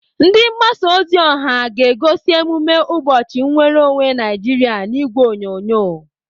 Ndi mgbasa ozi ọha ga-egosi emume ụbọchị nnwereonwe Naijiria n'ìgwè onyonyo.